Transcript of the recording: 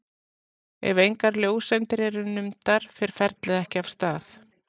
Ef engar ljóseindir eru numdar fer ferlið ekki af stað.